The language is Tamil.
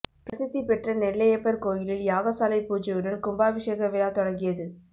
பிரசித்தி பெற்ற நெல்லையப்பர் கோயிலில் யாகசாலை பூஜையுடன் கும்பாபிஷேக விழா தொடங்கியது